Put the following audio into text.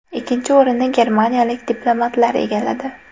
Ikkinchi o‘rinni germaniyalik diplomatlar egalladi.